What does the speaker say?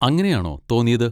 അങ്ങനെയാണോ തോന്നിയത്?